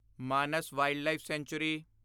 Manas wildlife sanctuary